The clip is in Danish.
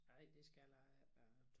Ej det skal jeg ikke da